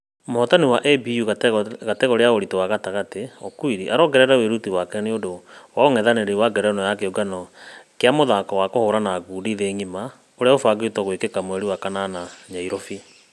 Mũhotani wa ABU kategore ya ũritũ wa gatagatĩ okwiri araongerera wĩruti wake nĩũndũ wa ũngethanĩri wa ngerenwa ya kĩũngano gĩa mũthako wa kũhũrana ngundi thĩ ngima ulũbqngĩtwo gwĩkĩka mweri wa kanana nyairobi.